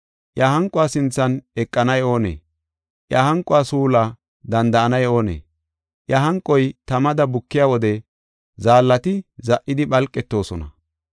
Iya hanquwa sinthan eqanay oonee? Iya hanquwa suulaa danda7anay oonee? Iya hanquwa tamada bukiya wode zaallati za77idi phalqetoosona.